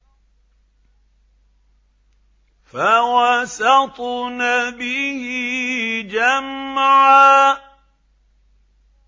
فَوَسَطْنَ بِهِ جَمْعًا